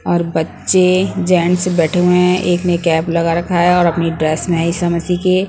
और बच्चे जेंट्स बैठे हुए है एक ने कैप लगा रखा है और अपनी ड्रेस नए समसी के--